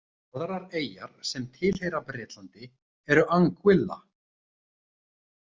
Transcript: Aðrar eyjar sem tilheyra Bretlandi eru Anguilla.